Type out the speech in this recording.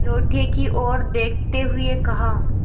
लोटे की ओर देखते हुए कहा